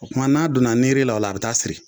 O kuma n'a donna niiri la, a bi taa siri